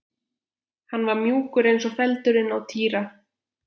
Hann var mjúkur eins og feldurinn á Týra.